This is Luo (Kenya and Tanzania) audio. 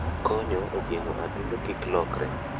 Okonyo e geng'o adundo kik lokre.